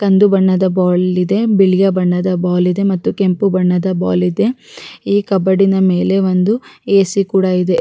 ಕಂದು ಬಣ್ಣದ ಬಾಲ್ ಇದೆ ಬಿಳಿಯ ಬಣ್ಣದ ಬಾಲ್ ಇದೆ ಮತ್ತು ಕೆಂಪು ಬಣ್ಣದ ಬಾಲ್ ಇದೆ ಈ ಕಬಾಡೀನ ಮೇಲೆ ಒಂದು ಎ ಸಿ ಕೂಡ ಇದೆ--